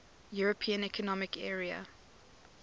european economic area